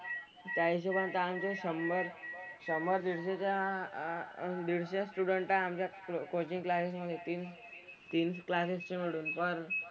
त्या हिशोबाने तर आमचे शंभर शंभर दीडशे च्या अह दीडशे student तर अं आमच्या coaching classes मधे येतील. तीन classes चे मिळून पण,